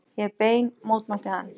Ég hef bein mótmælti hann.